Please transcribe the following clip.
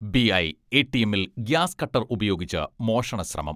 BI, എ.ടി.എമ്മിൽ gas cutter ഉപയോഗിച്ച് മോഷണശ്രമം